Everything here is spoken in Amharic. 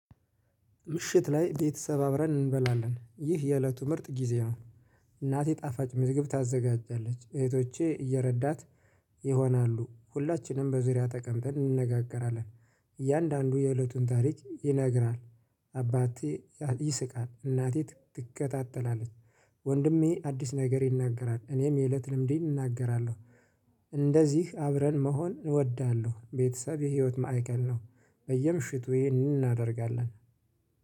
ምሽት ላይ ቤተሰብ አብረን እንበላለን ይህ የእለቱ ምርጥ ጊዜ ነው። እናቴ ጣፋጭ ምዝግብ ታዘጋጃለች እህቶቼ እየረዳት ይሆናሉ ሁላችንም በዙሪያ ተቀምጠን እንነጋገራለን። እያንዳንዱ የእለቱን ታሪክ ይነግራል። አባቴ ይስቃል እናቴ ትከታተላለች። ወንድሜ አዲስ ነገር ይናገራል እኔም የእለት ልምዴን እናገራለሁ። እንደዚህ አብረን መሆን እወዳለሁ ቤተሰብ የህይወት ማዕከል ነው። በየምሽቱ ይሄንን እናደርጋለን